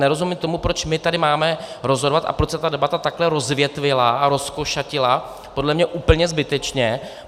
Nerozumím tomu, proč my tady máme rozhodovat a proč se ta debata takto rozvětvila a rozkošatila, podle mě úplně zbytečně.